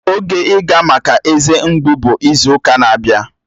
Oge ịga maka eze mgbu bụ izu ụka na-abịa